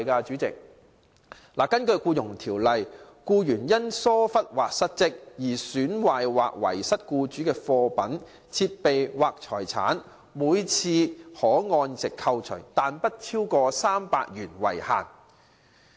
主席，根據《僱傭條例》，僱員因疏忽或失職而損壞或遺失僱主的貨品、設備或財產，每次可按值扣除，但不超過300元為限。